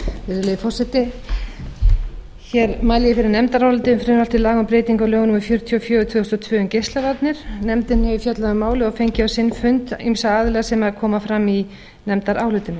virðulegi forseti ég mæli fyrir nefndaráliti um frumvarp til laga um breytingu á lögum númer fjörutíu og fjögur tvö þúsund og tvö um geislavarnir nefndin hefur fjallað um málið og fengið á sinn fund ýmsa aðila sem koma fram í nefndarálitinu